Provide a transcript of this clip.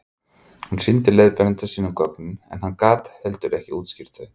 hún sýndi leiðbeinanda sínum gögnin en hann gat heldur ekki útskýrt þau